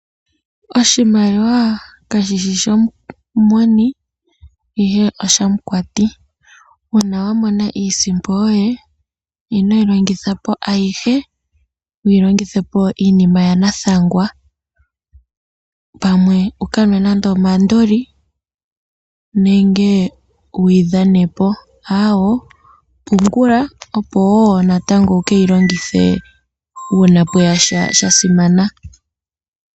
Oshimaliwa ka shishi shomu moni, ihe oshamu kwati. Uuna wamona iisimpo yoye, ino yi longithapo ayihe, ino yi longithapo miinima ya nathangwa, ano wukanwe nenge omandoli, nenge wuyidhanepo, aawoo, pungula opo woo natango wukeyilongithe uuna pweyasha shasimana.